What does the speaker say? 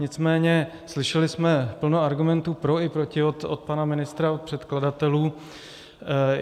Nicméně slyšeli jsme plno argumentů pro i proti od pana ministra, od předkladatelů.